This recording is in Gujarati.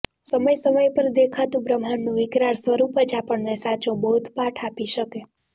સમય સમય પર દેખાતું બ્રહ્માંડનું વિકરાળ સ્વરૂપ જ આપણને સાચો બોધપાઠ આપી શકે